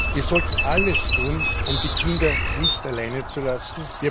Wir sollten alles tun, um die Kinder nicht alleine zu lassen.